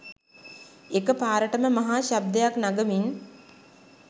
එක පාරටම මහා ශබ්දයක් නගමින්